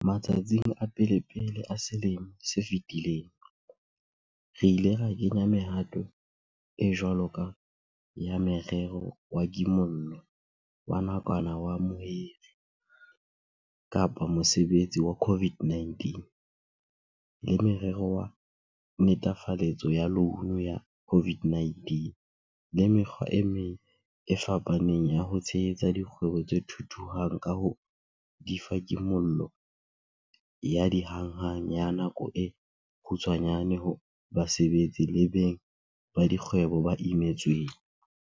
Matsatsing a pelepele a selemo se fetileng, re ile ra kenya mehato e jwalo ka ya Morero wa Kimollo wa Nakwana wa Mohiri-Mosebetsi wa COVID19, le Morero wa Netefaletso ya Loune ya COVID-19 le mekgwa e meng e fapaneng ya ho tshehetsa dikgwebo tse thuthuhang ka ho di fa kimollo ya hanghang ya nako e kgutshwanyane ho basebetsi le beng ba dikgwebo ba imetsweng.